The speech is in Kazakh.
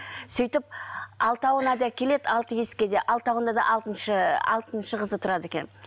сөйтіп алтауына да келеді алты есікке де алтауында да алтыншы алтыншы қызы тұрады екен